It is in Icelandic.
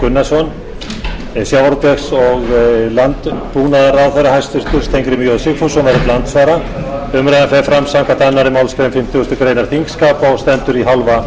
gunnarsson en hæstvirtur sjávarútvegs og landbúnaðarráðherra steingrímur j sigfússon verður til andsvara umræðan fer fram samkvæmt annarri málsgrein fimmtugustu grein þingskapa og stendur í hálfa klukkustund